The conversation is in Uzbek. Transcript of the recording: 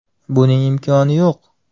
Buning imkoni yo‘q.